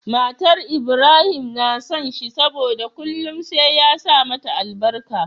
Matar Ibrahim na son shi saboda kullun sai ya sa mata albarka